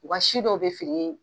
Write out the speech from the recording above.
WU ka si dɔw bɛ feere.